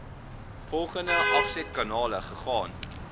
volgende afsetkanale gegaan